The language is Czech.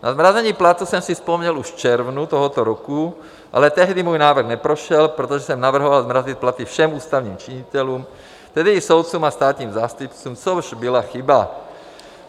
Na zmrazení platů jsem si vzpomněl už v červnu tohoto roku, ale tehdy můj návrh neprošel, protože jsem navrhoval zmrazit platy všem ústavním činitelům, tedy i soudcům a státním zástupcům, což byla chyba.